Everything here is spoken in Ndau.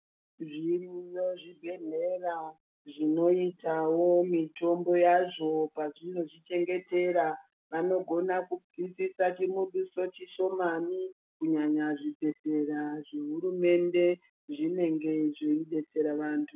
Zviriyo zvi bhedhlera zvinoitawo mitombo yazvo pazvinozvi chengetera vanogona kubvisisa chi mudoso chishomani kunyanya zvi bhedhlera zve hurumende zvinenge zveyi detsera vantu.